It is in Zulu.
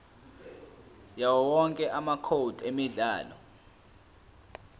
yawowonke amacode emidlalo